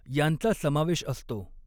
यांचा समावेश असतो.